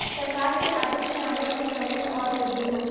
सरकार के राजस्व में आने वाले समय में और वृद्धि होगी